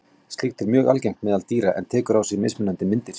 Slíkt er mjög algengt meðal dýra en tekur á sig mismunandi myndir.